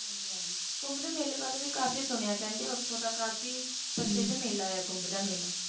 ਹਨ ਜੀ ਹਨ ਜੀ ਕੁੰਬ ਦੇ ਮੈਲੇ ਬਾਰੇ ਵੀ ਕਾਫੀ ਸੁਣਿਆ ਕਹਿੰਦੇ ਕਾਫੀ ਮੇਲਾ ਹੈ ਕੁੰਬ ਦਾ